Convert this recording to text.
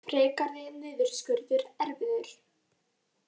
Frekari niðurskurður erfiður